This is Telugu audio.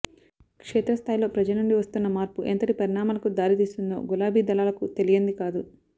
క్షేత్ర స్థాయిలో ప్రజలనుండి వస్తున్న మార్పు ఎంతటి పరిణామాలకు దారి తీస్తుందో గులాబీ దళాలకు తెలియంది కాదు